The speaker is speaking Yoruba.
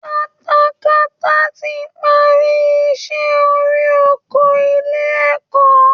Katakata ti parí iṣẹ́ orí oko ilé ẹ̀kọ́